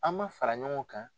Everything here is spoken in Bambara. An ma fara ɲɔgɔn kan